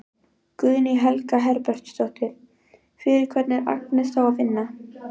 Guðný Helga Herbertsdóttir: Fyrir hvern er Agnes þá að vinna?